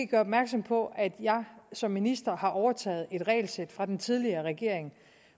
gøre opmærksom på at jeg som minister har overtaget et regelsæt fra den tidligere regering